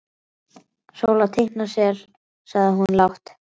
Sóla teikna sel, sagði hún lágt.